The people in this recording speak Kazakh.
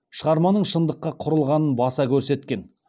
шығарманың шындыққа кұрылғанын баса көрсеткен